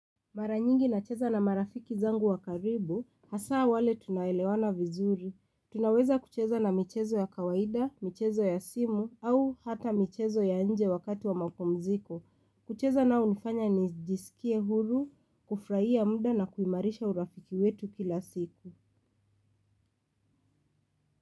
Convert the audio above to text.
Maranyingi na cheza na marafiki zangu wakaribu, hasa wale tuna elewana vizuri. Tunaweza kucheza na michezo ya kawaida, michezo ya simu, au hata michezo ya nje wakati wa mapumziko. Kucheza na unifanya nijisikie huru, kufrahia muda na kuimarisha urafiki wetu kila siku.